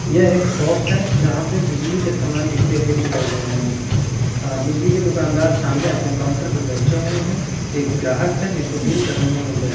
यह एक शॉप है जहाँ पे बिजली के सामान बिकते हुए दिखाई दे रहे है बिजली के दुकानदार सामने अपने काउंटर पे बैठे हुए है एक ग्राहक है जिसको डील करने में व्यस्त --